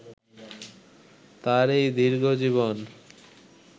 তাঁর এই দীর্ঘজীবন